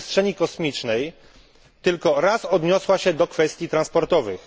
Przestrzeni Kosmicznej tylko raz odniosła się do kwestii transportowych.